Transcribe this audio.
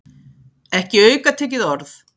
Ekki aukatekið orð.